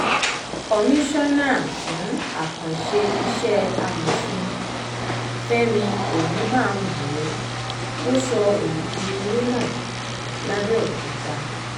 komisanna fún àkànṣe iṣẹ́ amòfin fẹ̀mí ogunbánwò ló sọ èyí di mímọ́ lápèokúta